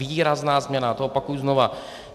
Výrazná změna, to opakuji znovu.